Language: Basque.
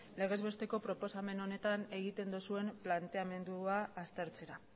legez besteko proposamen honetan egiten duzuen planteamendua aztertzera